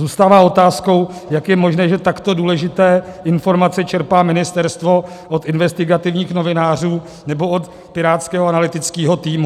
Zůstává otázkou, jak je možné, že takto důležité informace čerpá ministerstvo od investigativních novinářů nebo od pirátského analytického týmu.